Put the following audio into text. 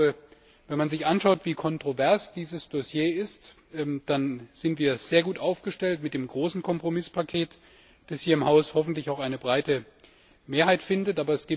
Ich glaube, wenn man sich anschaut, wie kontrovers dieses Dossier ist, dann sind wir sehr gut aufgestellt mit dem großen Kompromisspaket, das hier im Haus hoffentlich auch eine breite Mehrheit findet.